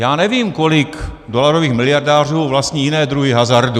Já nevím, kolik dolarových miliardářů vlastní jiné druhy hazardu.